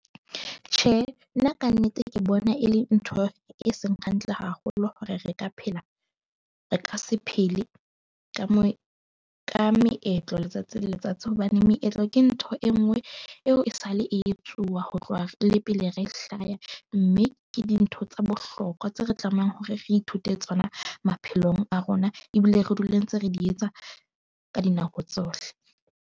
Tjhe, nna ka nnete ke bona e le ntho e seng hantle haholo, hore re ka phela re ka se phele ka moo ka meetlo letsatsi le letsatsi. Hobane meetlo ke ntho e nngwe eo e sale, e tsuwa ho tloha le pele re hlaya. Mme ke dintho tsa bohlokwa tseo re tlamehang hore re ithute tsona maphelong a rona ebile re dule ntse re di etsa ka dinako tsohle.